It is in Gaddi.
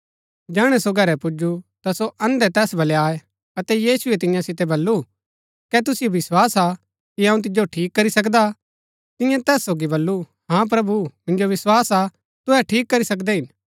जैहणै सो घरै पुजु ता सो अन्धै तैस बलै आये अतै यीशुऐ तियां सितै बल्लू कै तुसिओ विस्वास हा कि अऊँ तिजो ठीक करी सकदा तिन्यै तैस सोगी बल्लू हा प्रभु मिन्जो विस्वास हा तुहै ठीक करी सकदै हिन